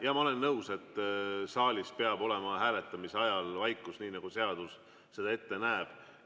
Jaa, ma olen nõus, et saalis peab olema hääletamise ajal vaikus, nii nagu seadus seda ette näeb.